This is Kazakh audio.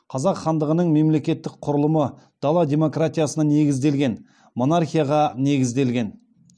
қазақ хандығының мемлекеттік құрылымы дала демократиясына негізделген монархияға негізделген